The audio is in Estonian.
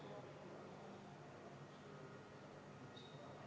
Aga seda, et sellele lüüakse käega ja öeldakse, et las see jääb, kindlasti ei ole.